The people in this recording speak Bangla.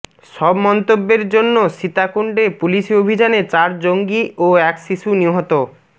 সব মন্তব্যের জন্য সীতাকুণ্ডে পুলিশি অভিযানে চার জঙ্গি ও এক শিশু নিহত